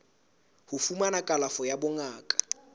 ho fumana kalafo ya bongaka